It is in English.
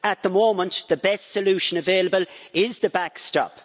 At the moment, the best solution available is the backstop.